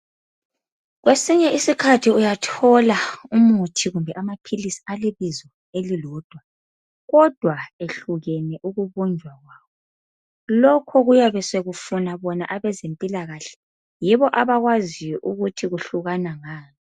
Kwesinye isikhathi uyathola umuthi kumbe amaphilisi okulebizo elilodwa, kodwa ehlukene ukubunjwa kwawo, lokho kuyabe sekufuna bona abezempilakahle, yibo abakwaziyo ukuthi kuhlukana ngani.